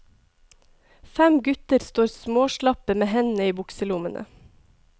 Fem gutter står småslappe med hendene i bukselommene.